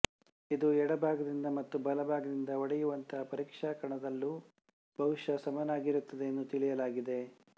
ಇದು ಎಡಭಾಗದಿಂದ ಮತ್ತು ಬಲಭಾಗದಿಂದ ಒಡೆಯುವಂತಹ ಪರೀಕ್ಷಾ ಕಣದಲ್ಲೂ ಬಹುಶಃ ಸಮನಾಗಿರುತ್ತದೆ ಎಂದು ತಿಳಿಯಲಾಗಿದೆ